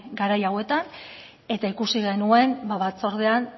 garai hauetan eta ikusi genuen batzordean